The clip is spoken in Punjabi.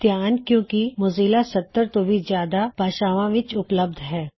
ਧਿਆਨ ਦਿਉ ਕੀ ਮੌਜ਼ੀਲਾ 70 ਤੋਂ ਵੀ ਜਿਆਦਾ ਭਾਸ਼ਾਵਾਂ ਵਿੱਚ ਉਪਲਬਧ ਹੈ